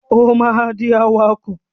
O ma dì awakọ̀!